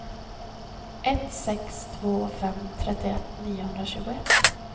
ett sex två fem trettioett niohundratjugoett